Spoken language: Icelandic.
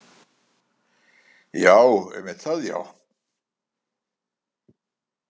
Já, einmitt það, já?